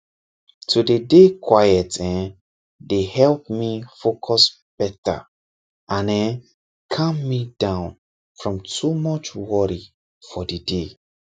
to dey dey quiet[um]dey help me focus better and[um]calm me down from too much worry for the day